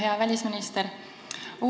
Hea välisminister!